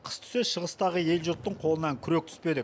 қыс түссе шығыстағы ел жұрттың қолынан күрек түспеді